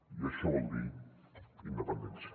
i això vol dir independència